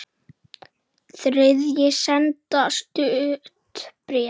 Þriðji sendi stutt bréf